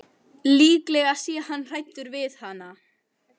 Líklega sé hann hræddur við hana.